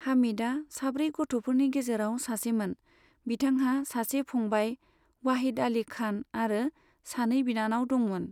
हामिदआ साब्रै गथ'फोरनि गेजेराव सासेमोन, बिथांहा सासे फंबाय, वाहिद आली खान आरो सानै बिनानाव दोंमोन।